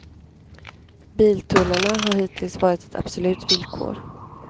Biltullarna har hittills varit ett absolut villkor.